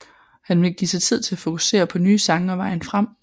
Han ville give sig tid til at fokusere på nye sange og vejen frem